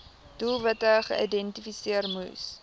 doelwitte geïdentifiseer moes